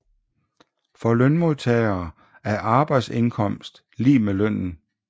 For lønmodtagere er arbejdsindkomst lig med lønnen